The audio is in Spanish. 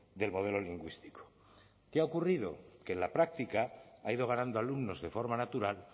del modelo lingüístico qué ha ocurrido que en la práctica ha ido ganando alumnos de forma natural